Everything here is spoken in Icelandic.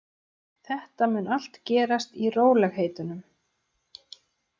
Þetta mun allt gerast í rólegheitunum.